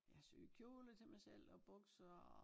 Jeg har syet kjoler til mig selv og bukser og